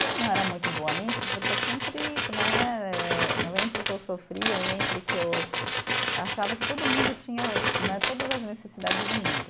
E eu não era muito boa nisso, porque eu sempre né eh, entre que eu sofria e entre que eu achava que todo mundo tinha né todas as necessidades do mundo.